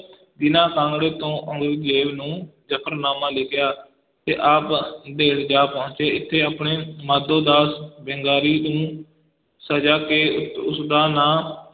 ਦੀਨਾ ਕਾਂਗੜੇ ਤੋਂ ਔਰੰਗਜੇਬ ਨੂੰ ਜਫ਼ਰਨਾਮਾ ਲਿਖਿਆ ਤੇ ਆਪ ਨੰਦੇੜ ਜਾ ਪਹੁੰਚੇ, ਇਥੇ ਆਪਨੇ ਮਾਧੋ ਦਾਸ ਬੈਂਗਾਰੀ ਨੂੰ ਸਿੰਘ ਸਜਾ ਕੇ ਉਸ ਦਾ ਨਾਂ